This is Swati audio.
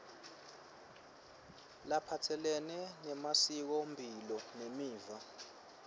laphatselene nemasikomphilo nemiva